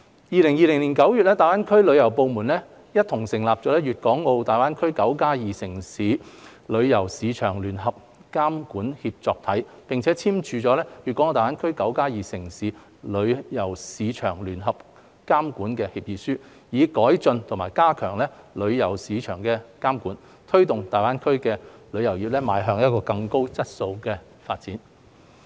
2020年9月，大灣區旅遊部門共同成立"粵港澳大灣區 '9+2' 城市旅遊市場聯合監管協作體"，並簽署《粵港澳大灣區 "9+2" 城市旅遊市場聯合監管協議書》，以改進和加強旅遊市場監管，推動大灣區旅遊業邁向更高質素的發展。